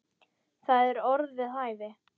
Það eru orð við hæfi.